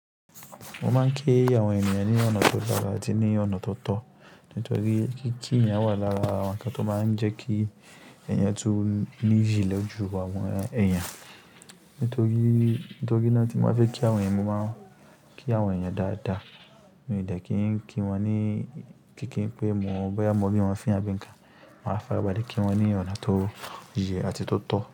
Wọ́n máa ń kí àwọn ènìyàn ní ọ̀nà tó dára àti ní ọ̀nà tó tọ̀. Nítorí pé kí ki yen wà lára àwọn ǹkan tó máa ń jẹ́ kí ẹ̀yàn tún ní iyi ni oju àwọn èèyàn. Nítorí, nítorí náà tí wọ́n bá fẹ́ kí àwọn ẹ́, wọ́n máa ń kí àwọn ènìyàn dáadáa. Mi o de kí ń kí wọn ní kíkí pé mo bá yá mọ ri won fiń abí innkàn. Wọn á fàrabale kí wọn ní ọ̀nà tó yẹ àti tó tọ́